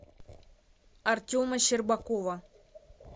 артема щербакова